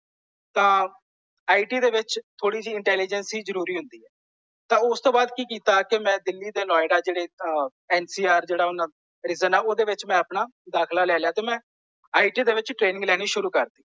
ਤਾਂ I T ਦੇ ਵਿੱਚ ਥੋੜੀ ਜਿਹੀ ਇੰਟੈਲੀਜੇਂਸੀ ਜ਼ਰੂਰੀ ਹੁੰਦੀ ਹੈ। ਤਾਂ ਉਸ ਤੋਂ ਬਾਅਦ ਕੀ ਕੀਤਾ ਕਿ ਮੈਂ ਦਿੱਲੀ ਤੇ ਨੋਇਡਾ ਜਿਹੜੇ ਨ ਸੀ ਆਰ ਜਿਹੜਾ ਓਹਨਾ ਦੇ ਵਿੱਚ ਆ ਓਹਦੇ ਵਿੱਚ ਮੈਂ ਆਪਣਾ ਦਾਖਲਾ ਲੈ ਲਿਆ ਤੇ ਮੈਂ ਆਈ ਟੀ ਦੇ ਵਿੱਚ ਟ੍ਰੇਨਿਗ ਲੈਣੀ ਸ਼ੁਰੂ ਕਰ ਦਿੱਤੀ।